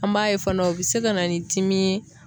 An b'a ye fana o be se ka na ni dimi ye